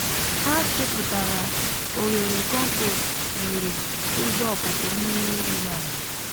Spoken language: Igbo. ha chepụtara oghere kọmpost nwere ụzọ ọpụpụ mmiri ruru ala